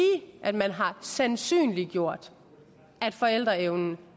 at man har sandsynliggjort at forældreevnen